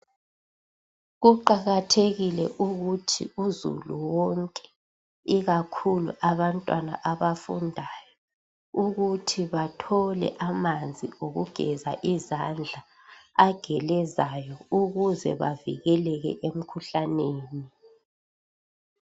Kuqakathekile ukuthi uzulu wonke ikakhulu abantwana abafundayo ukuthi bathole amanzi okugeza izandla agelezayo ukuze bavikeleke emikhuhlaneni.